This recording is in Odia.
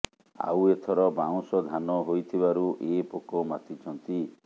ଆଉ ଏଥର ବାଉଁଶ ଧାନ ହୋଇଥିବାରୁ ଏ ପୋକ ମାତିଛନ୍ତି